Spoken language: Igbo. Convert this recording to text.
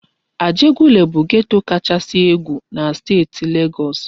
Ajegunle bụ geto kachasị egwu na steeti Legọs.